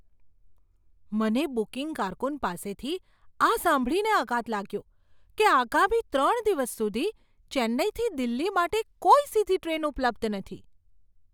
મને બુકિંગ કારકુન પાસેથી આ સાંભળીને આઘાત લાગ્યો કે આગામી ત્રણ દિવસ સુધી ચેન્નાઈથી દિલ્હી માટે કોઈ સીધી ટ્રેન ઉપલબ્ધ નથી.